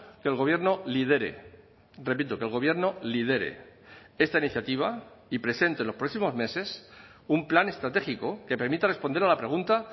que el gobierno lidere repito que el gobierno lidere esta iniciativa y presente en los próximos meses un plan estratégico que permita responder a la pregunta